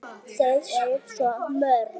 Eyþór: Þau eru svo mörg.